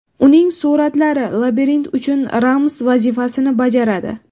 Uning suratlari labirint uchun ramz vazifasini bajaradi.